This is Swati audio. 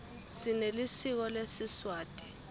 sinelisiko lesiswati